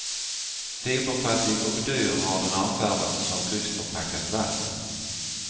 Fiberfattig och dyr har den avfärdats som lyxförpackat vatten.